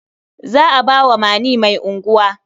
Za a ba Mani mai unguwa.